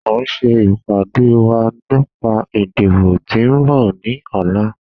A n ṣe ipade wa nipa idibo ti n bọ ni ọla.